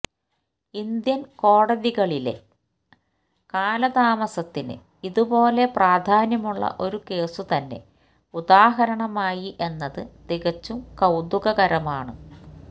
Indian കോടതികളിലെ കാലതാമസത്തിന് ഇതുപോലെ പ്രാധാന്യമുള്ള ഒരു കേസുതന്നെ ഉദാഹരണമായി എന്നത് തികച്ചും കൌതുകകരമാണ്